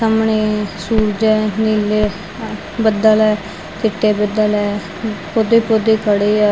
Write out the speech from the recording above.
ਸਾਹਮਣੇ ਸੂਰਜ ਹੈ ਨੀਲੇ ਬੱਦਲ ਆ ਚਿੱਟੇ ਬੱਦਲ ਆ ਪੌਦੇ ਹੀ ਪੌਦੇ ਖੜ੍ਹੇ ਆ।